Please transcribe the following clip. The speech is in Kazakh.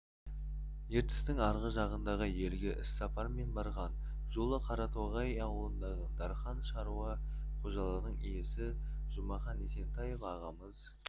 ертістің арғы жағындағы елге іссапармен барған жолы қаратоғай ауылындағы дархан шаруа қожалығының иесі жұмахан есентаев ағамыз